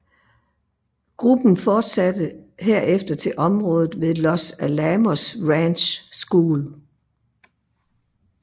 Gruppen fortsatte herfter til området ved Los Alamos Ranch School